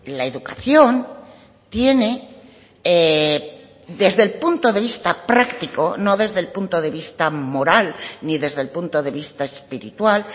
la educación tiene desde el punto de vista práctico no desde el punto de vista moral ni desde el punto de vista espiritual